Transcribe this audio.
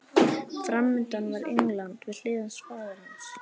Framundan var England, við hlið hans faðir hans